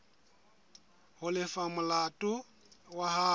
ho lefa molato wa hao